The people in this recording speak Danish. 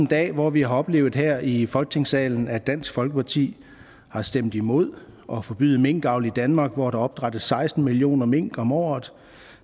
dag hvor vi har oplevet her i folketingssalen at dansk folkeparti har stemt imod at forbyde minkavl i danmark hvor der opdrættes seksten millioner mink om året